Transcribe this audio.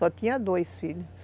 Só tinha dois filhos.